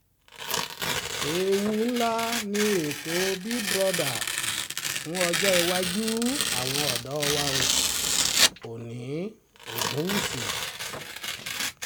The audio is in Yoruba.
ewu ńlá ni ètò big brother fún ọjọ́ iwájú iwájú àwọn ọ̀dọ́ wa oòní ogunwúsì